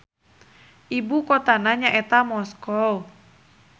Ibu kotana nyaeta Moskow.